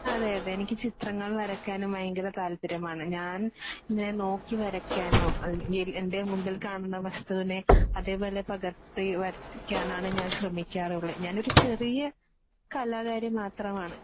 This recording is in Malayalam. അതേയതേ എനിക്ക് ചിത്രങ്ങൾ വരയ്ക്കാനും ഭയങ്കര താല്പര്യമാണ്. ഞാൻ നോക്കി വരയ്ക്കാനോ എൻ്റെ മുൻപിൽ കാണുന്ന വസ്തുവിനെ അതേപോലെ പകർത്തി വരപ്പിക്കാനാണ് ഞാൻ ശ്രമിക്കാറുള്ളത്. ഞാനൊരു ചെറിയ കലാകാരി മാത്രമാണ്